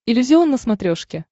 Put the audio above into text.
иллюзион на смотрешке